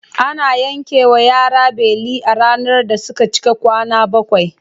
Ana yankewa yara beli a ranar da suka cika kwana bakwai.